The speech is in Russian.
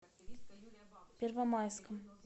первомайском